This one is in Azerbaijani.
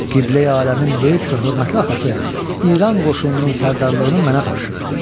Qibləyi aləmin böyük və hörmətli atası İran qoşununun sərdarlığını mənə tapşırdı.